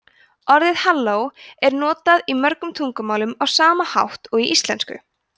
orðið halló er notað í mörgum tungumálum á sama hátt og í íslensku